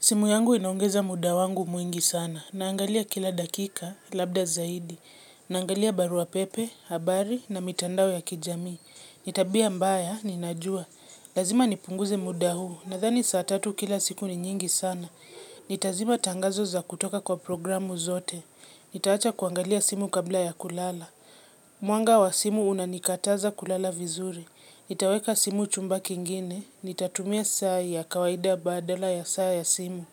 Simu yangu inaongeza muda wangu mwingi sana, naangalia kila dakika, labda zaidi, naangalia barua pepe, habari, na mitandao ya kijamii. Ni tabia mbaya, ninajua. Lazima nipunguze muda huu, nadhani saa tatu kila siku ni nyingi sana. Nitazima tangazo za kutoka kwa programu zote. Nitaacha kuangalia simu kabla ya kulala. Mwanga wa simu unanikataza kulala vizuri. Nitaweka simu chumba kingine. Nitatumia saa ya kawaida badala ya saa ya simu.